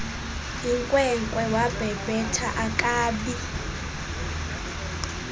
yinkwenkwe wabhebhetha akabi